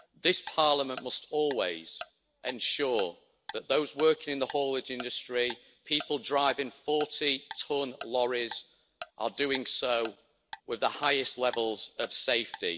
This Parliament must always ensure that those working in the haulage industry people driving 40 tonne lorries are doing so with the highest levels of safety.